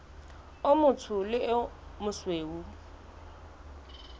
o motsho le o mosweu